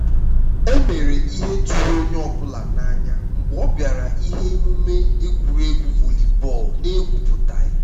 o mere ịhe tụrụ onye ọ bụla n'anya mgbe ọ bịara na ihe omume egwuruegwu volleyball n'ekwupụtaghị